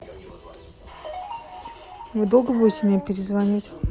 вы долго будете мне перезванивать